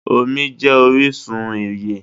Omí jé orísun ìyè